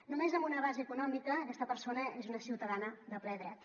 només amb una base econòmica aquesta persona és una ciutadana de ple dret